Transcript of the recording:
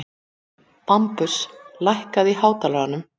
Bambus, lækkaðu í hátalaranum.